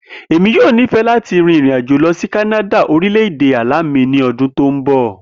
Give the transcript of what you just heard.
Emi yoo nifẹ lati rin irin-ajo lọ si Kanada orilẹ-ede ala mi ni ọdun ti n bọ.